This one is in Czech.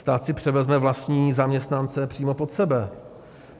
Stát si převezme vlastní zaměstnance přímo pod sebe.